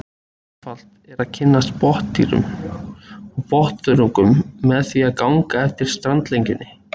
Einfalt er að kynnast botndýrum og botnþörungum með því að ganga eftir strandlengjunni.